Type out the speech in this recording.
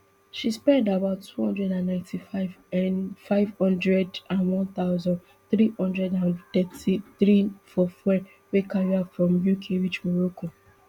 she spend about two hundred and ninety-five nfive hundred and one thousand, three hundred and thirty-three for fuel wey carry her from uk reach morocco